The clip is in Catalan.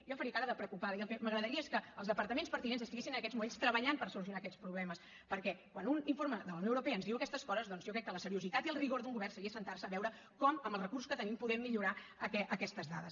jo faria cara de preocupada i el que m’agradaria és que els departaments pertinents estiguessin en aquests moments treballant per solucionar aquests problemes perquè quan un informe de la unió europea ens diu aquestes coses doncs jo crec que la seriositat i el rigor d’un govern seria asseure’s a veure com amb els recursos que tenim podem millorar aquestes dades